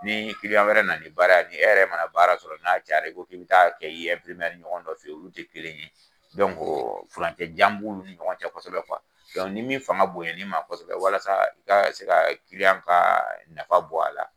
Ni kiliyan wɛrɛ nana ni bara, e yɛrɛ mana baara sɔrɔ n'a cayari i ko k'i bɛ taa kɛ i ɲɔgɔn dɔ fɛ olu tɛ kelen ye, ko furancɛ jan b'ulu ni ɲɔgɔn cɛ kosɛbɛ ni min fanga bonya ni ma kosɛbɛ walasa i ka se ka kiliyan ka nafa bɔ a la.